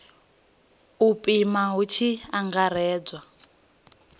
u pima hu tshi angaredzwa